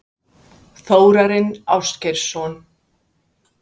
Þórarinn Ásgeirsson?